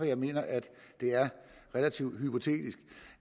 jeg mener at det er relativt hypotetisk